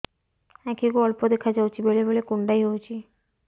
ଆଖି କୁ ଅଳ୍ପ ଦେଖା ଯାଉଛି ବେଳେ ବେଳେ କୁଣ୍ଡାଇ ହଉଛି